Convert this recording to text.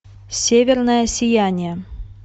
северное сияние